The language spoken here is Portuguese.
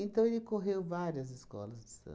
ele correu várias escolas de